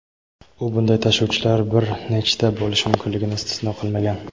u bunday tashuvchilar bir nechta bo‘lishi mumkinligini istisno qilmagan.